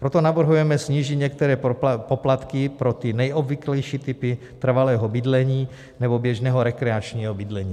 Proto navrhujeme snížit některé poplatky pro ty nejobvyklejší typy trvalého bydlení nebo běžného rekreačního bydlení.